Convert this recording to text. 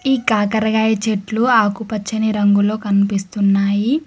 ఈ కాకరకాయ చెట్లు ఆకుపచ్చని రంగులో కనిపిస్తున్నాయి.